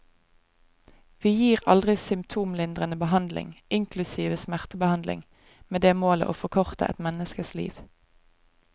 Vi gir aldri symptomlindrende behandling, inklusive smertebehandling, med det målet å forkorte et menneskes liv.